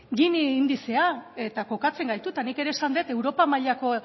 gini indizea eta kokatzen gaitu eta nik ere esan dut europa mailako